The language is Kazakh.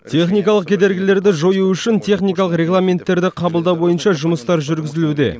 техникалық кедергілерді жою үшін техникалық регламенттерді қабылдау бойынша жұмыстар жүргізілуде